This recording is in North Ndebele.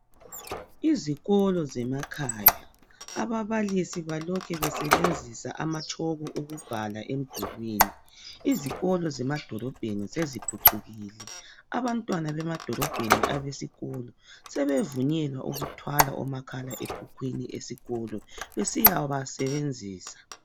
Izikolo zemakhaya ababalisi balokhe besebenzisa amatshoko ukubhala emdulwini. Izikolo zemadolobheni seziphucukile, abantwana besikolo emadolobheni sebevunyelwa ukuthwala omakhala ekhukhwini eskolo besiyaba sebenzisa.